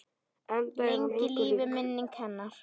Lengi lifi minning hennar!